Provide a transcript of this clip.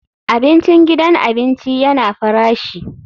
Abincin gidan abinci yana farashi.